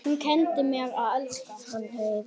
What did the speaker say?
Selja eða halda?